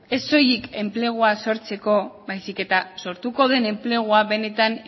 ez soilik enplegua sortzeko baizik eta sortuko den enplegua benetan